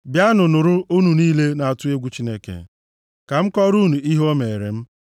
Bịanụ nụrụ, unu niile na-atụ egwu Chineke; ka m kọọrọ unu ihe o meere m.